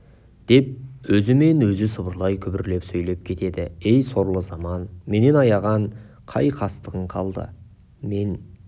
деп өзімен өзі сыбырлай күбірлеп сөйлеп кетеді ей сорлы заман менен аяған қай қастығың қалды мен